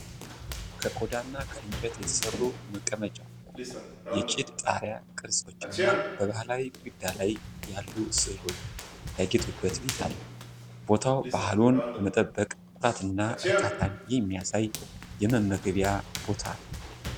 ከቆዳና ከእንጨት የተሠሩ መቀመጫዎች፣ የጭድ ጣሪያ ቅርጾችና ባህላዊ ግድግዳ ላይ ያሉ ሥዕሎች ያጌጡበት ቤት አለ። ቦታው ባህሉን በመጠበቅ ኩራትና እርካታን የሚያሳይ የመመገቢያ ቦታ ነዉ።